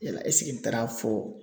Yala ɛsike n taar'a fɔ